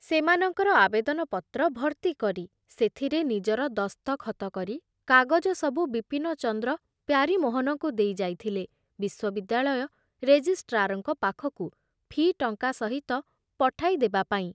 ସେମାନଙ୍କର ଆବେଦନପତ୍ର ଭର୍ତ୍ତି କରି ସେଥିରେ ନିଜର ଦସ୍ତଖତ କରି କାଗଜସବୁ ବିପିନଚନ୍ଦ୍ର ପ୍ୟାରୀମୋହନଙ୍କୁ ଦେଇ ଯାଇଥିଲେ ବିଶ୍ଵବିଦ୍ୟାଳୟ ରେଜିଷ୍ଟ୍ରାରଙ୍କ ପାଖକୁ ଫି ଟଙ୍କା ସହିତ ପଠାଇ ଦେବାପାଇଁ ।